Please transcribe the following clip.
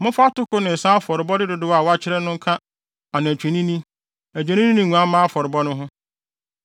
Momfa atoko ne nsa afɔrebɔde dodow a wɔakyerɛ no nka anantwinini, adwennini ne nguamma afɔrebɔ no ho.